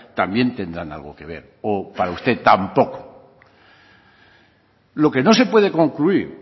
también tendrán algo que ver o para usted tampoco lo que no se puede concluir